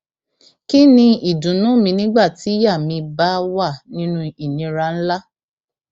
kín ni ìdùnnú mi nígbà tíyàá mi bá wà nínú ìnira ńlá